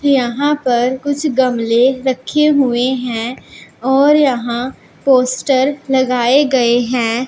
यहां पर कुछ गमले रखे हुए हैं और यहां पोस्टर लगाए गए हैं।